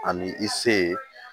Ani i se ye